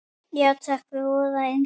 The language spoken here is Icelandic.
Já takk, voða indælt